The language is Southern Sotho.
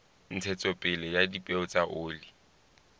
ntshetsopele ya dipeo tsa oli